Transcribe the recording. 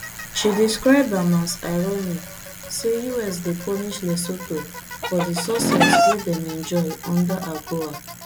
she describe am as ironic say us dey punish lesotho for di success wey dem enjoy under agoa